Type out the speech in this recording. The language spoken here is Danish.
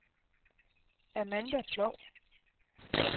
Amanda Ploug